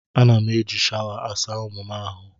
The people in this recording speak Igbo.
Ana m eji shawa asa ụmụ m ahụ.